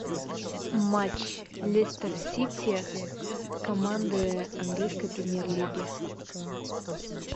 матч лестер сити команды английской премьер лиги